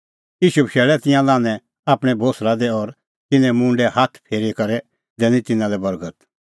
ईशू बशैल़ै तिंयां लान्हैं आपणीं कल़टी दी और तिन्नें मुंडै हाथ फेरी करै दैनी तिन्नां लै बर्गत